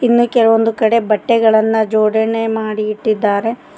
ಇನ್ನೂ ಕೆಲವೊಂದು ಕಡೆ ಬಟ್ಟೆಗಳನ್ನ ಜೋಡಣೆ ಮಾಡಿ ಇಟ್ಟಿದ್ದಾರೆ.